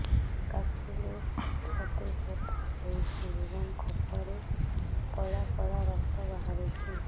କାଶିଲେ ଛାତି ବଥା ହେଉଛି ଏବଂ କଫରେ ପଳା ପଳା ରକ୍ତ ବାହାରୁଚି